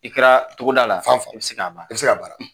I kɛra togo da la, fan fan, i bɛ se ka baara, i be se ka baara.